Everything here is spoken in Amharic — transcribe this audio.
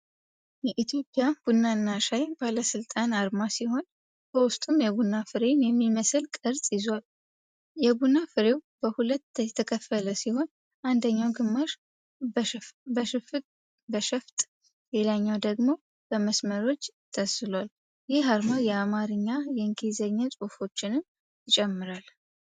የኢትዮጵያ ቡናና ሻይ ባለስልጣን አርማ ሲሆን፣ በውስጡም የቡና ፍሬን የሚመስል ቅርፅ ይዟል። የቡና ፍሬው በሁለት የተከፈለ ሲሆን፣ አንደኛው ግማሽ በሸፍጥ፣ ሌላኛው ደግሞ በመስመሮች ተስሏል። ይህ አርማ የአማርኛና የእንግሊዘኛ ጽሑፎችንም ይጨምራል።